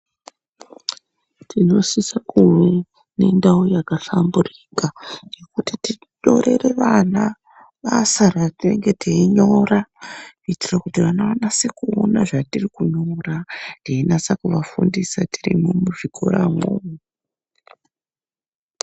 Tinosisa kunge tine ndau yakanhlamburuka yekuti tinyorere vana basa raitenge teinyora kuitire kuti vana vanase kuona zvatiri kunyora teinase kuvafundisa tiri muzvikoramwo.